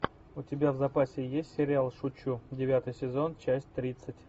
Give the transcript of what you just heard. у тебя в запасе есть сериал шучу девятый сезон часть тридцать